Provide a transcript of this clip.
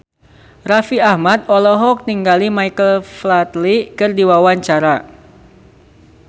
Raffi Ahmad olohok ningali Michael Flatley keur diwawancara